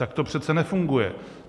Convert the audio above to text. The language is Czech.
Tak to přece nefunguje.